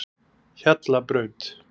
Hjallabraut